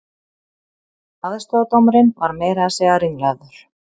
Aðstoðardómarinn var meira að segja ringlaður